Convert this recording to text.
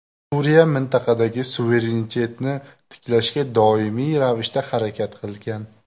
Suriya mintaqadagi suverenitetni tiklashga doimiy ravishda harakat qilgan.